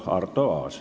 Arto Aas.